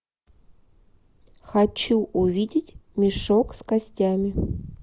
хочу увидеть мешок с костями